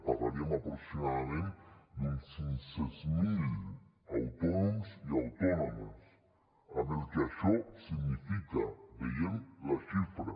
parlaríem aproximadament d’uns cinc cents miler autònoms i autònomes amb el que això significa veiem la xifra